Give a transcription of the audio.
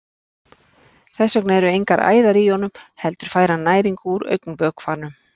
Þess vegna eru engar æðar í honum heldur fær hann næringu úr augnvökvanum.